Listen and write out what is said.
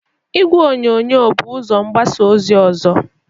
Igwe onyonyo bụ ụzọ mgbasa ozi ọzọ.